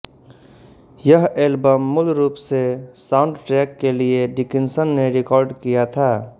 यह ऐल्बम मूल रूप से साउंडट्रैक के लिए डिकिन्सन ने रिकार्ड किया था